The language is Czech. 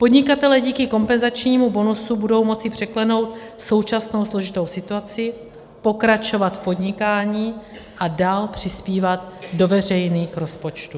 Podnikatelé díky kompenzačnímu bonusu budou moci překlenout současnou složitou situaci, pokračovat v podnikání a dál přispívat do veřejných rozpočtů.